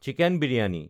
chicken biryani